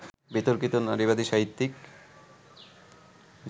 বিতর্কিত নারীবাদী সাহিত্যিক